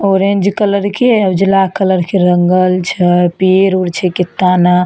Orange colour के उजला colour के रंगल छै पेड़ उर छै केताना ने।